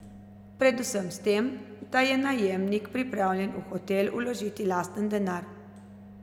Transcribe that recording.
Predvsem s tem, da je najemnik pripravljen v hotel vložiti lasten denar.